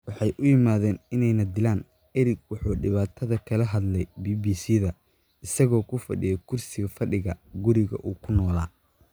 waxay u yimaadeen inay na dilaan," Eric wuxuu dhibaatada kala hadlay BBC-da isagoo ku fadhiya kursi fadhiga guriga uu ku noolaa.